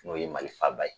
N'o ye mali faaba ye